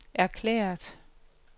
erklæret